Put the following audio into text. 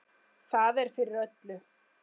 Það er fyrir öllu.